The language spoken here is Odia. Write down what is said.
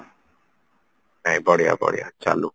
ନାଇଁ ବଢିଆ ବଢିଆ ଚାଲୁ